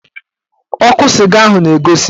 Ọkụ sịga ahụ na-egosi